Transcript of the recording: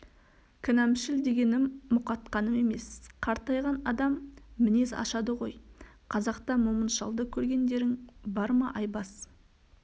кінәмшіл дегенім мұқатқаным емес қартайған адам мінез ашады ғой қазақта момын шалды көргендерің бар ма айбас